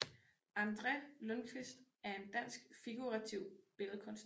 André Lundquist er en dansk figurativ billedkunstner